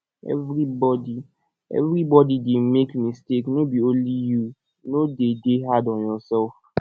everybody everybody dey make mistake no be only you no de dey hard on yourself